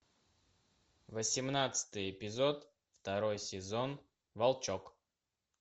восемнадцатый эпизод второй сезон волчок